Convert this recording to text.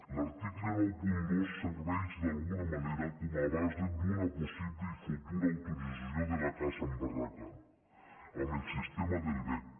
l’article noranta dos serveix d’alguna manera com a base d’una possible i futura autorització de la caça amb barraca amb el sistema amb vesc